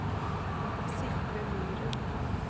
Sigve Myhren